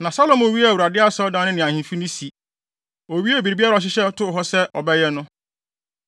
Na Salomo wiee Awurade Asɔredan no ne ahemfi no si. Owiee biribiara a ɔhyehyɛ too hɔ sɛ ɔbɛyɛ no.